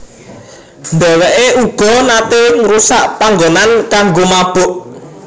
Dheweke uga nate ngrusak panggonan kanggo mabok